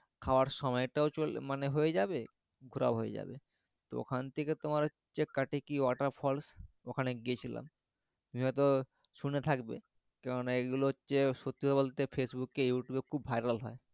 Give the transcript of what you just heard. খাওয়ার সময়টাও চলে মানে হয়ে যাবে ঘুরাও হয়ে যাবে তো ওখান থেকে তোমার হচ্ছে Katiki Waterfalls ওখানে গিয়েছিলাম তুমি হয়ত শুনে থাকবে কেননা এগুলো হচ্ছে সত্যি বলতে Facebook এ youtube এ খুব viral হয়